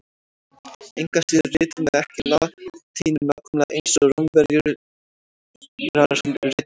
Engu að síður ritum við ekki latínu nákvæmlega eins og Rómverjar rituðu hana.